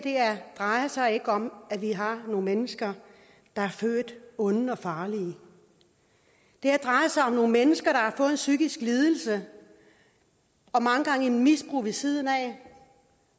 drejer sig ikke om at vi har nogle mennesker der er født onde og farlige det her drejer sig om nogle mennesker der har fået en psykisk lidelse og mange gange et misbrug ved siden af